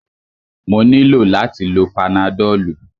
Mo nílò láti lo panadọ́lú.